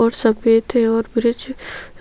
और सफेद थे और ब्रिज